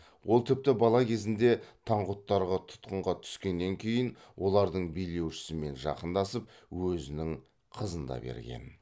ол тіпті бала кезінде таңғұттарға тұтқынға түскеннен кейін олардың билеушісімен жақындасып өзінің қызын да берген